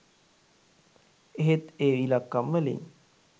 එහෙත් ඒ ඉලක්කම් වලින්